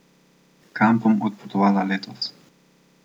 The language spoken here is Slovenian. Kam bom odpotovala letos?